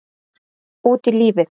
Út í lífið